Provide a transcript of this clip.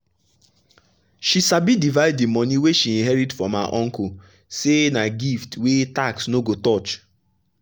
she sabi divide the money wey she inherit from her uncle say na gift wey tax no go touch.